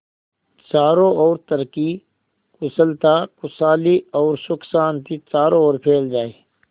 चारों और तरक्की कुशलता खुशहाली और सुख शांति चारों ओर फैल जाए